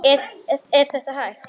Er þetta hægt?